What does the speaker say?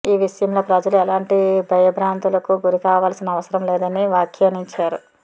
ఈ విషయంలో ప్రజలు ఎలాంటి భయబ్రాంతులకు గురికావాల్సిన అవసరం లేదని వ్యాఖ్యానించారు